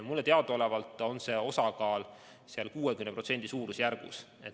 Mulle teadaolevalt on see osakaal umbes 60%.